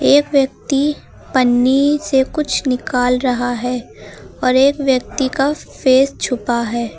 एक व्यक्ति पन्नी से कुछ निकल रहा है और एक व्यक्ति का फेस छुपा है।